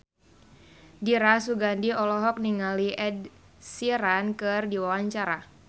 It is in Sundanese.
Dira Sugandi olohok ningali Ed Sheeran keur diwawancara